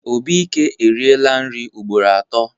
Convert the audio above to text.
Obike eriela nri ugboro atọ.